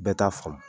Bɛɛ t'a faamu